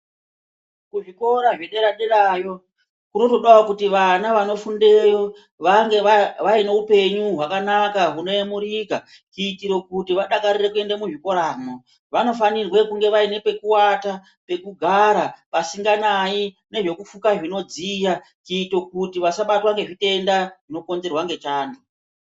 Kuzvikora zvedera-derayo kunotodawo kuti vana vanofundeyo vange vaine upenyu hwakanaka hunoyemurika kuitire kuti vadakarire kuende muzvikoramwo. Vanofanirwa kunge vaine pekuwata, pekugara pasinganai nezvekufuka zvinodziya kuita kuti vasabatwa ngezvitenda zvinokonzerwa ngechando.